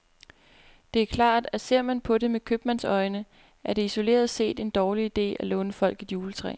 Det er klart, at ser man på det med købmandsøjne, er det isoleret set en dårlig ide at låne folk et juletræ.